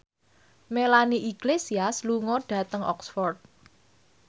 Melanie Iglesias lunga dhateng Oxford